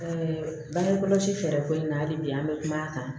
bange kɔlɔsi fɛɛrɛ ko in na hali bi an bɛ kuma ta